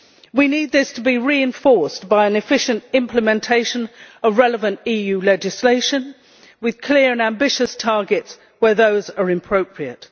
We need this to be reinforced by an efficient implementation of relevant EU legislation with clear and ambitious targets where those are appropriate.